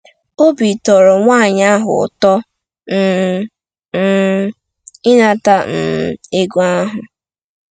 Obi tọrọ nwaanyị ahụ ụtọ um um ịnata um ego ahụ.